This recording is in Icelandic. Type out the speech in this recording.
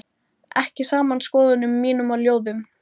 ekki saman skoðunum mínum og ljóðum.